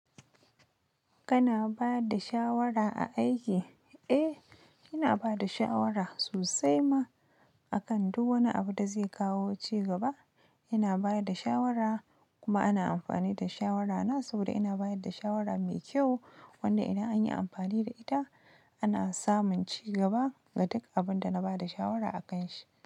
Kana ba da shawara a aiki? Eh, ina ba da shawara sosai ma. A kan du wani abu da zai kawo ci gaba, ina ba da shawara kuma ana amfani da shawarana saboda ina bayar da shawara mai kyau wanda idan an yi amfani da ita, ana samun ci gaba ga duk abin da na ba da shawara a kan shi.